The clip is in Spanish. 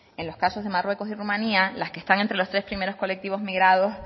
en los casos de marruecos y rumanía las que están entre los tres primeros colectivos migrados